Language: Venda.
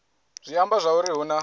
zwi amba zwauri hu na